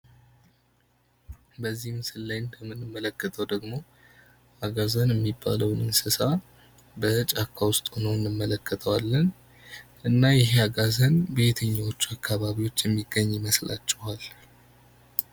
በዚህ ላይ እንደምንመለከተው ደግሞ አጋዘን የሚባለው እንስሳ በጫካ ውስጥ ሆኖ እንመለከተዋለን። እና ይህ አጋዘን በየትኛዎቹ አካባቢዎች የሚገኝ ይመስላችኋል?